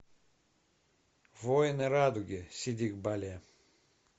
воины радуги сидик бале